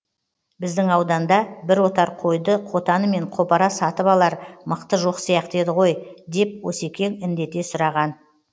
біздің ауданда бір отар қойды қотанымен қопара сатып алар мықты жоқ сияқты еді ғой деп осекең індете сұраған